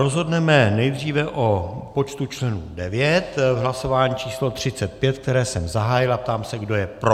Rozhodneme nejdříve o počtu členů 9 v hlasování číslo 35, které jsem zahájil, a ptám se, kdo je pro.